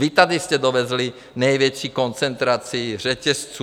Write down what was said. Vy jste tady dovezli největší koncentraci řetězců.